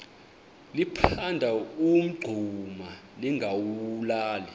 liphanda umngxuma lingawulali